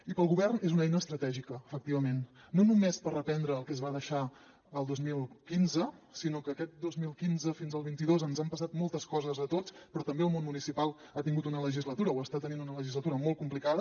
i per al govern és una eina estratègica efectivament no només per reprendre el que es va deixar el dos mil quinze sinó que aquest dos mil quinze fins al vint dos ens han passat moltes coses a tots però també el món municipal ha tingut una legislatura o està tenint una legislatura molt complicada